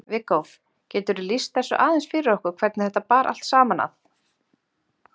Viggó, geturðu lýst þessu aðeins fyrir okkur hvernig þetta bar allt saman að?